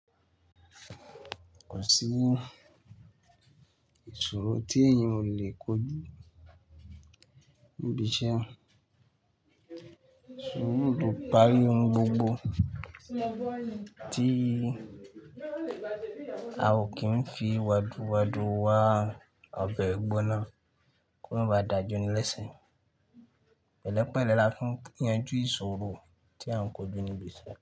Kò sí ìṣòro tí èèyàn ò lè kojú níbi iṣẹ́. Ṣùúrù lò pari ohun gbogbo tí a ò kí ń fi waduwadu wa ọbẹ̀ gbonáà kí o má ba dà jóni lẹ́se. Pẹ̀lẹ́pẹ̀lẹ́ la fi yanjú ìṣòro tí a ń kojú níbi iṣẹ́